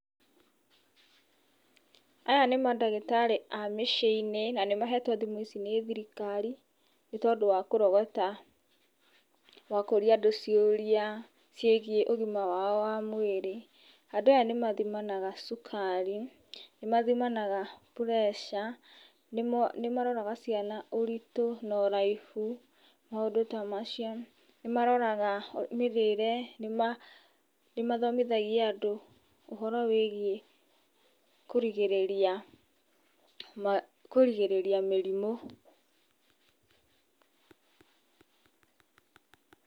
Aya nĩ mandagĩtarĩ a mĩciĩ-inĩ na nĩ mahetwo thimũ ici nĩ thirikari nĩ tondũ wa kũrogota na kũũria andũ ciũria ciigiĩ ũgima wao wa mwriri. Andu aya nĩ mathimanaga cukari, nĩ mathimanaga pressure, nĩ maroraga ciana ũritũ na ũraihu, maũndũ ta madio, nĩ maroraga mĩthiĩre, nĩ mathomithagia andũ ũhoro wĩgiĩ kũrigĩrĩria mĩrimũ.